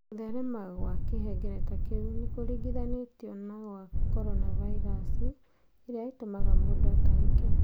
Kũtherema kwa Kĩhengereta kĩu nĩ kũringithanĩtio na kwa norovirus, ĩrĩa ĩtũmaga mũndũ atahĩkĩ.